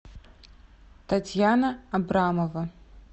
татьяна абрамова